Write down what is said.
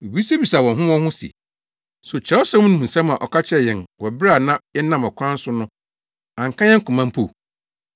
Wobisabisaa wɔn ho wɔn ho se, “So Kyerɛwsɛm no mu nsɛm a ɔka kyerɛɛ yɛn wɔ bere a na yɛnam ɔkwan so no anka yɛn koma mpo?”